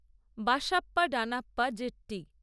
Basappa Danappa Jetti